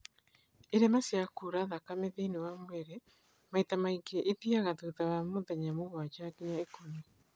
irema cia kura thakame thĩiniĩ wa mwĩrĩ maita maingĩ ithiaga thutha wa mĩthenya mũgwanja nginya ikũmi